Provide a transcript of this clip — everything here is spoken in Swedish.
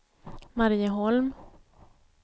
Marieholm